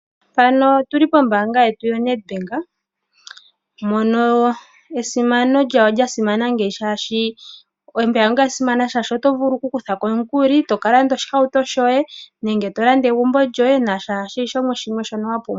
Mpano otuli pombaanga yetu yoNetbank mono esimano lyawo lya simana ngeyi shaashi, ombaanga yasimana shashi oto vulu oku kuthako omukuli eto kalanda oshihauto shoye nenge to landa egumbo lyoye naashono shimwe wapumbwa.